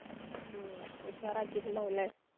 ഹും ഉഷാറാക്കിട്ടുണ്ടാകും ല്ലെ?